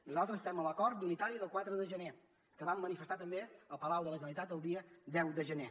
nosaltres estem a l’acord unitari del quatre de gener que vam manifestar també al palau de la generalitat el dia deu de gener